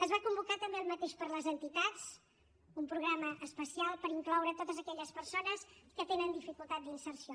es va convocar també el mateix per a les entitats un programa especial per incloure totes aquelles persones que tenen dificultat d’inserció